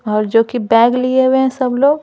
और जो कि बैग लिए हुए हैं सब लोग--